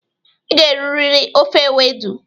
Ị ga-eriri ofe ewedu.